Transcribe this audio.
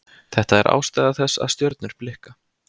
Þetta er ástæða þess að stjörnur blikka.